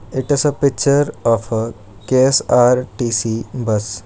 It is picture of K_S_R_T_C bus.